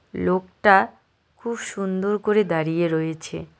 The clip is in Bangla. লোকটা খুব সুন্দর করে দাঁড়িয়ে রয়েছে।